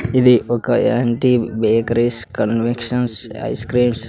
ఇది ఒక anti bakeries confections ice creams --